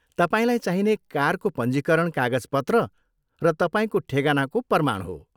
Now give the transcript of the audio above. तपाईँलाई चाहिने कारको पञ्जीकरण कागजपत्र र तपाईँको ठेगानाको प्रमाण हो।